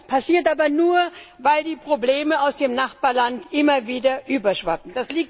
Das passiert aber nur, weil die Probleme aus dem Nachbarland immer wieder überschwappen.